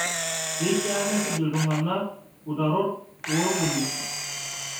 Keishaa nesuj ltung'ana utarot oo lpolisi